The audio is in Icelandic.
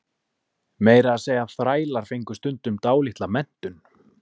Meira að segja þrælar fengu stundum dálitla menntun.